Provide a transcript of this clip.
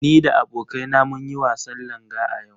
Ni da abokaina mun yi wasan Langa a yau.